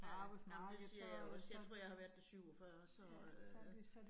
Ja. Jamen det siger jeg også, jeg tror jeg har været der 47 så øh